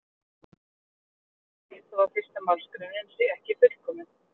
það gerir því ekkert til þó að fyrsta málsgreinin sé ekki fullkomin